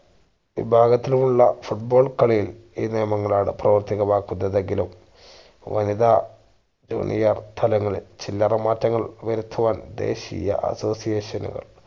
വിഭാഗത്തിലുള്ള foot ball കളിയിൽ ഈ നിയമങ്ങളാണ് പ്രാവർത്തികമാക്കുന്നത് എങ്കിലും വനിതാ junior തലങ്ങളിൽ ചില്ലറ മാറ്റങ്ങൾ വരുത്തുവാൻ ദേശീയ association ന്